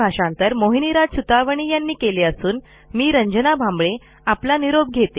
ह्या ट्युटोरियलचे भाषांतर मोहिनीराज सुतवणी यांनी केले असून मी रंजना भांबळे आपला निरोप घेते